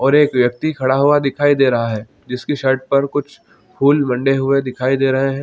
--और एक व्यक्ति खड़ा हुआ दिखाई दे रहा है जिसके शर्ट पर कुछ फूल बन्दे हुए दिखाई दे रहे है।